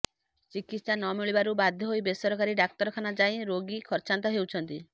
ଚିକିତ୍ସା ନ ମିଳିବାରୁ ବାଧ୍ୟ ହୋଇ ବେସରକାରୀ ଡାକ୍ତରଖାନା ଯାଇ ରୋଗୀ ଖର୍ଚ୍ଚାନ୍ତ ହେଉଛନ୍ତି